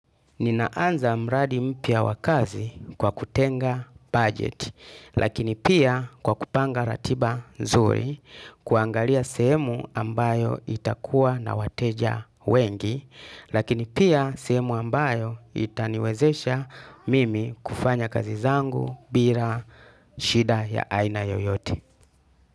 Nina anza mradi mpya wa kazi kwa kutenga budget, lakini pia kwa kupanga ratiba nzuri, kuangalia sehemu ambayo itakuwa na wateja wengi, lakini pia sehemu ambayo itaniwezesha mimi kufanya kazi zangu, bila, shida ya aina yoyote.